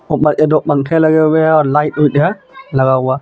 ऊपर में दो पंखे लगे हुए है और लाइट लगा हुआ है.